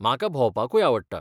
म्हाका भोंवपाकूय आवडटा .